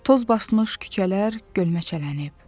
Toz basmış küçələr gölməçələnib.